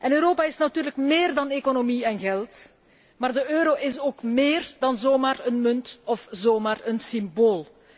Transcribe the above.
Europa is natuurlijk méér dan economie en geld, maar de euro is ook méér dan zomaar een munt of zomaar een symbool.